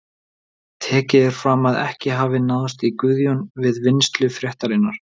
Tekið er fram að ekki hafi náðst í Guðjón við vinnslu fréttarinnar.